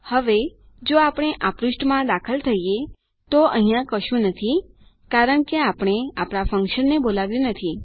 હવે જો આપણે આ પૃષ્ઠમાં દાખલ થઈએ તો અહિયાં કશું નથી કારણ કે આપણે આપણા ફન્કશનને બોલાવ્યું નથી